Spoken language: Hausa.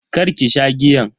karki sha giyan.